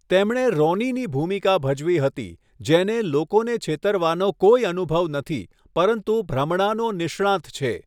તેમણે રોનીની ભૂમિકા ભજવી હતી, જેને લોકોને છેતરવાનો કોઈ અનુભવ નથી, પરંતુ ભ્રમણાનો નિષ્ણાંત છે.